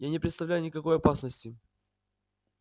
я не представляю никакой опасности